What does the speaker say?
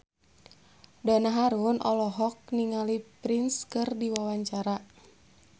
Donna Harun olohok ningali Prince keur diwawancara